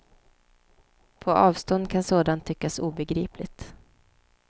På avstånd kan sådant tyckas obegripligt.